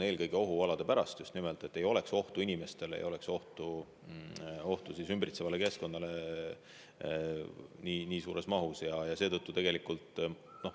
Eelkõige ohualade pärast, et ei oleks ohtu inimestele ega ümbritsevale keskkonnale nii suures mahus.